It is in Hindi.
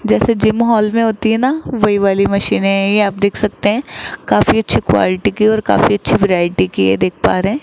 जैसे जिम हॉल में होती है ना वही वाली मशीन है ये आप देख सकते है काफी अच्छी क्वालिटी की और काफी अच्छी वैरायटी की है देख पा रहे है।